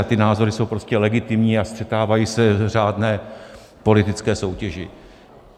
A ty názory jsou prostě legitimní a střetávají se v řádné politické soutěži.